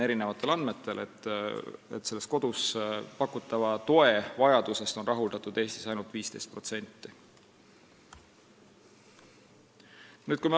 Eri andmetel on kodus pakutava toe vajadusest Eestis rahuldatud ainult 15%.